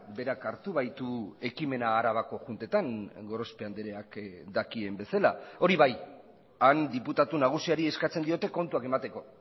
berak hartu baitu ekimena arabako juntetan gorospe andreak dakien bezala hori bai han diputatu nagusiari eskatzen diote kontuak emateko